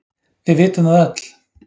Við vitum það öll.